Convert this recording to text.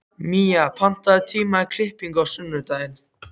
Mía, pantaðu tíma í klippingu á sunnudaginn.